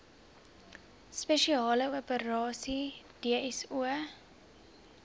spesiale operasies dso